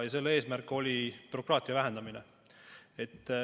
Selle eesmärk oli bürokraatia vähendamine.